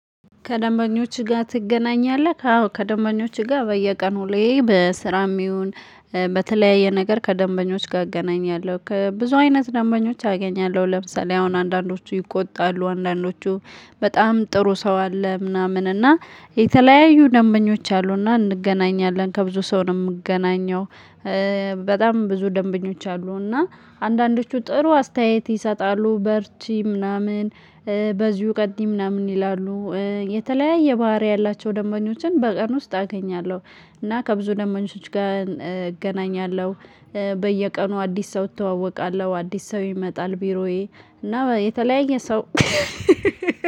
ከደንበኞችህ ጋር ትገናኛለህ? አዎ ከደንበኞች ጋር በየቀን ሁሌ በስራም ይሁን በተለያየ ነገር ከደንበኞች ጋር እገናኛለሁ ከብዙ አይነት ደንበኞች አገኛለሁ ለምሳሌ አሁን አንዳንዶቹ ይቆጣሉ አንዳንዶቹ በጣም ጥሩ ሰው አለ ምናምን እና የተለያዩ ደንበኞች አሉና እንገናኛለን ከብዙ ሰው ነው የምገናኘው። በጣም ብዙ ደንበኞች አሉ እና አንዳንዶቹ ጥሩ አስተያየት ይሰጣሉ በርቺ ምናምን በዚሁ ቀጥይ ምናምን ይላሉ። የተለያየ ባህሪ ያላቸው ደምበኞችን በቀን ውስጥ አገኛለሁ። እና ከብዙ ደምበኞች ጋር እገናኛለሁ። በየቀኑ አዲስ ሰው እተዋወቃለሁ አዲስ ሰው ይመጣል ቢሮዬ እና የተለያየ ሰው